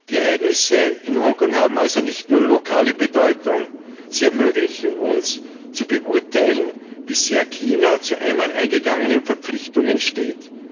Die Ereignisse in Hongkong haben also nicht nur lokale Bedeutung, sie ermöglichen uns zu beurteilen, wie sehr China zu einmal eingegangenen Verpflichtungen steht.